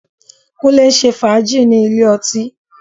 Kúnlé ń ṣe fàájì ní ilé ọtí